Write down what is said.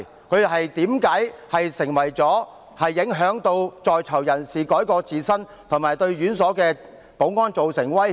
這些書刊如何影響在囚人士改過自新，又為何會對院所的保安造成威脅？